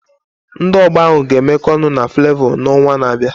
Ndị ọgba ahụ ga-emekọ ọnụ na Fulevo n'ọnwa na-abịa.